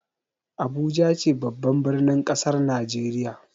Abuja ce babban birnin kasar Najeriya.